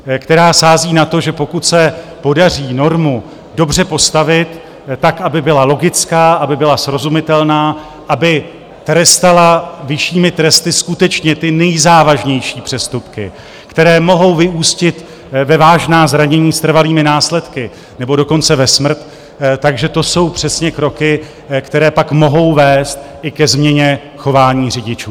Která sází na to, že pokud se podaří normu dobře postavit, tak aby byla logická, aby byla srozumitelná, aby trestala vyššími tresty skutečně ty nejzávažnější přestupky, které mohou vyústit ve vážná zranění s trvalými následky, nebo dokonce ve smrt, že to jsou přesně kroky, které pak mohou vést i ke změně chování řidičů.